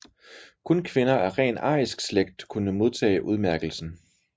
Kun kvinder af ren arisk slægt kunne modtage udmærkelsen